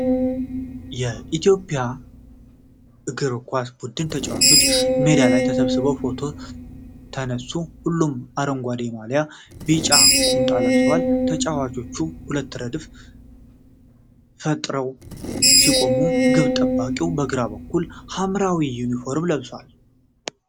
የኢትዮጵያ እግር ኳስ ቡድን ተጫዋቾች በሜዳ ላይ ተሰብስበው ፎቶ ተነሱ። ሁሉም አረንጓዴ ማልያና ቢጫ ቁምጣ ለብሰዋል። ተጫዋቾቹ ሁለት ረድፍ ፈጥረው ሲቆሙ፣ ግብ ጠባቂው በግራ በኩል ሐምራዊ ዩኒፎርም ለብሷል።